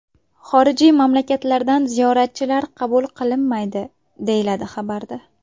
Xorijiy mamlakatlardan ziyoratchilar qabul qilinmaydi”, deyiladi xabarda.